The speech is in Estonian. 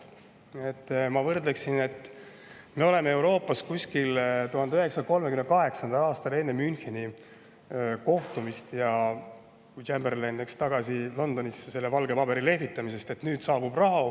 Ma tooksin võrdluse, et me oleme Euroopas kuskil 1938. aastas, enne Müncheni kohtumist, kust Chamberlain läks tagasi Londonisse valget paberit lehvitades, et nüüd saabub rahu.